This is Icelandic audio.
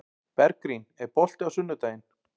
Bergrín, er bolti á sunnudaginn?